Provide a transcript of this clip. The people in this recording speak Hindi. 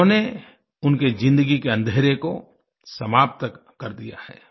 उन्होंने उनकी ज़िन्दगी के अँधेरे को समाप्त कर दिया है